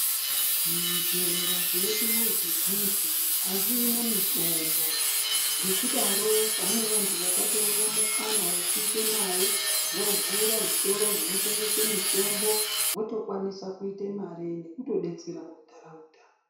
Zvibhehlera zvedu zvizhinji azvina mitombo ngekudaro pane vantu vakatoone mukana wekuite mare vovhura zvitoro zvinotengesa mitombo votokwanisa kuita mare nekutodetsera ndaraunda.